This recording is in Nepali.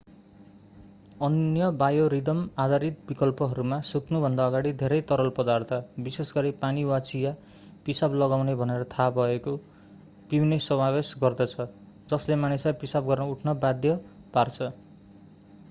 अन्य बायोरिदम-आधारित विकल्पहरूमा सुत्नुभन्दा अगाडि धेरै तरल पदार्थ विशेषगरी पानी वा चिया पिसाब लगाउने भनेर थाहा भएको पिउने समावेश गर्दछ जसले मानिसलाई पिसाब गर्न उठ्न बाध्य पार्छ।